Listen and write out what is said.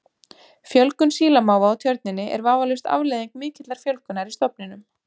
Fjölgun sílamáfa á Tjörninni er vafalaust afleiðing mikillar fjölgunar í stofninum.